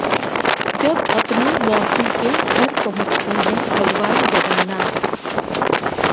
जब अपनी मौसी के घर पहुंचते हैं भगवान जगन्नाथ